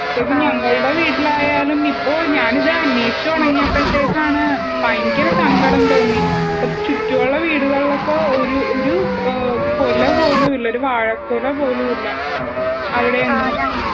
ശരിക്കും ഞങളുടെ വീട്ടിൽ ആയാലും ഇപ്പോ ഞാനിത് അനേഷിച്ചു തുടങ്ങിയപ്പത്തെനാണ് ഭയങ്കര സങ്കടം തോന്നി. ചുറ്റുവുള്ള വീടുകളിലൊക്കെ ഒരു കൊലപോലും ഇല്ല ഒരു വാഴക്കുല പോലും ഇല്ല. ആ അവിടെ എങ്ങും.